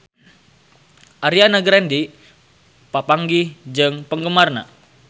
Ariana Grande papanggih jeung penggemarna